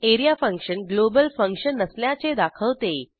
A R E A function global function नसल्याचे दाखवते